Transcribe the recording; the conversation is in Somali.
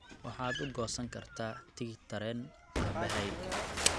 waxaad u goosan kartaa tigidh tareen aabahay